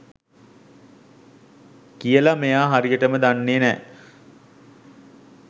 කියලා මෙයා හරියටම දන්නේ නෑ.